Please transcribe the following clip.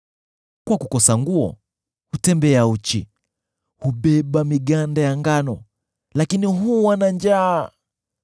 Kwa kukosa nguo, hutembea uchi; hubeba miganda ya ngano, lakini huwa na njaa.